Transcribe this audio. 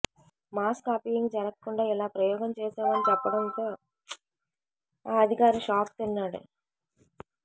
mass copying జరగకుండా ఇలా ప్రయోగం చేశామని చెప్పడంతో ఆ అధికారి షాక్ తిన్నాడు